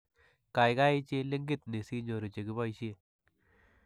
Kaykaay chil linkiit ni si ny'oru chekiboisie.